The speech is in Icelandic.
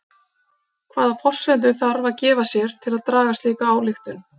Hvaða forsendur þarf að gefa sér til að draga slíka ályktun?